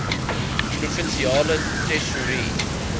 provinsiale tesourie